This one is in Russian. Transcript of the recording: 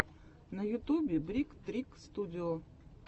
на ютубе брик трик студио